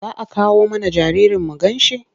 Za a kawo mana jaririn mu ganshi?